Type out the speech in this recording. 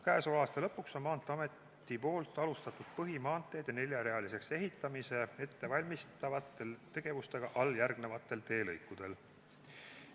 " Käesoleva aasta lõpuks on Maanteeamet alustanud põhimaanteede neljarealiseks ehitamise ettevalmistavaid tegevusi alljärgnevatel teelõikudel.